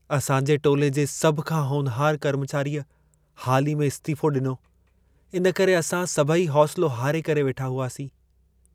असांजे टोले जे सभु खां होनहारु कर्मचारिअ हाल ई में इस्तिफ़ो डि॒नो. इन करे असां सभई हौसिलो हारे करे वेठा हुआसीं।